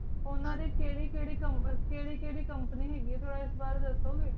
ਉਨ੍ਹਾਂ ਵਿਚ ਕੇਹਰਿ ਕੇਹਰਿ company ਹੀ ਆਈ ਇਸ ਬਾਰੇ ਦੱਸੋ ਗੇ